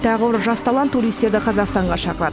тағы бір жас талант туристерді қазақстанға шақырады